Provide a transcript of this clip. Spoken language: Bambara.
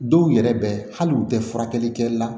Dɔw yɛrɛ bɛ hali u tɛ furakɛli kɛ la